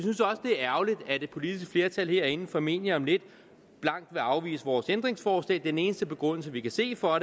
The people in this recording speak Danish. er ærgerligt at et politisk flertal herinde formentlig om lidt blankt vil afvise vores ændringsforslag den eneste begrundelse vi kan se for